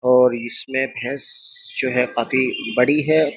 और इसमें भैंस जो है काफी बड़ी है।